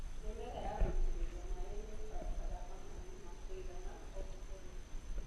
Mĩmera ya gũitĩrĩrio maĩ nĩibataraga maĩ ma kũigana o mũthenya.